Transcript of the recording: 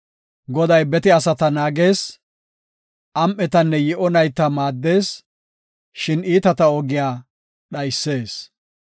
Goday bete asata naagees; Am7etanne yi7o nayta maaddees; shin iitata ogiya dhaysees.